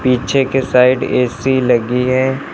पीछे के side AC लगी है।